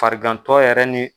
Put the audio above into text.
Farigantɔ yɛrɛ ni.